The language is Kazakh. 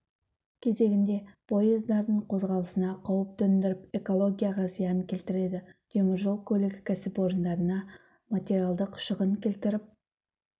кезегінде поездардын қозғалысына қауіп төндіріп экологияға зиян келтіреді темір жол көлігі кәсіпорындарына материалдық шығын келтіріп